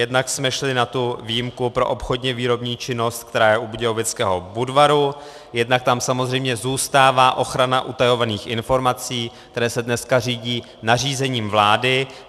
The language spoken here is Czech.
Jednak jsme šli na tu výjimku pro obchodně-výrobní činnost, která je u Budějovického Budvaru, jednak tam samozřejmě zůstává ochrana utajovaných informací, které se dneska řídí nařízením vlády.